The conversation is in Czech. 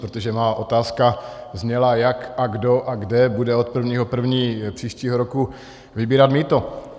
Protože má otázka zněla, jak, kdo a kde bude od 1. 1. příštího roku vybírat mýto.